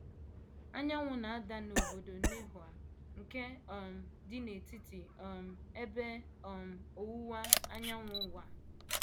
Anyanwụ na - ada n’obodo Nehoa nke um dị n’Etiti um Ebe um Ọwụwa Anyanwụ Ụwa.